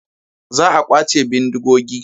Za a kwace bindigogi.